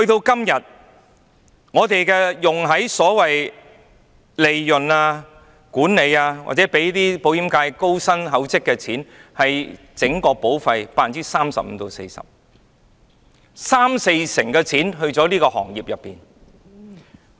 今天的方案，用在所謂利潤、管理或讓保險界高薪厚職的錢，佔整筆保費的 35% 至 40%， 即三四成錢去了這個行業。